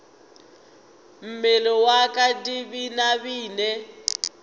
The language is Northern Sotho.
mmele wa ka di binabine